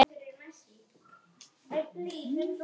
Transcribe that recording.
Hver talar?